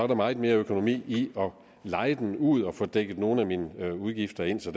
der meget mere økonomi i at leje den ud og få dækket nogle af mine udgifter ind så